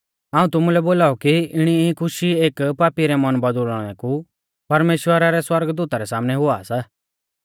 हाऊं तुमुलै बोलाऊ कि इणी ई खुशी एक पापी रै मन बौदुल़णै कु परमेश्‍वरा रै सौरगदूता रै सामनै हुआ सा